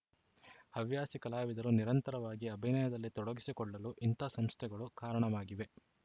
ಹವ್ಯಾಸಿ ಕಲಾವಿದರು ನಿರಂತರವಾಗಿ ಅಭಿನಯದಲ್ಲಿ ತೊಡಗಿಸಿಕೊಳ್ಳಲು ಇಂಥ ಸಂಸ್ಥೆಗಳು ಕಾರಣವಾಗಿವೆ